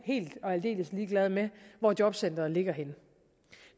helt og aldeles ligeglade med hvor jobcenteret ligger henne